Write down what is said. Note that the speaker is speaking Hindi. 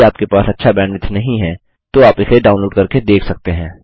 यदि आपके पास अच्छा बैंडविड्थ नहीं है तो आप इसे डाउनलोड करके देख सकते हैं